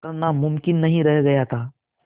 करना मुमकिन नहीं रह गया था